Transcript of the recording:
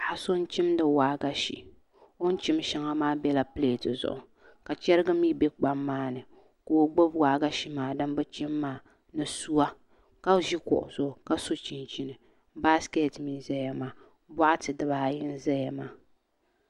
Paɣa so n chimdi waagashe o ni chim shɛŋa maa bɛla pilɛt zuɣu ka chɛrigi mii bɛ kpam maa ni ka o gbubi waagashe maa din bi chim maa ka ʒi kuɣu zuɣu ka so chinchini baskɛt mii n ʒɛya maa boɣati dibaayi n ʒɛya maa